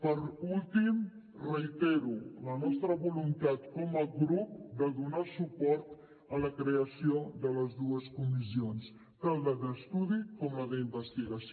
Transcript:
per últim reitero la nostra voluntat com a grup de donar suport a la creació de les dues comissions tant la d’estudi com la d’investigació